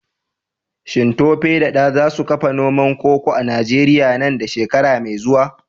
Shin Tope da Dan za su kafa noman koko a Najeriya nan da shekara mai zuwa?